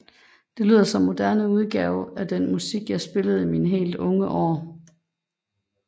Det lyder som en moderne udgave af den musik jeg spillede i mine helt unge år